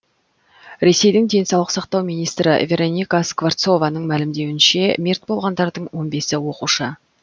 ресейдің денсаулық сақтау министірі вероника скворцованың мәлімдеуінше мерт болғандардың он бесі оқушы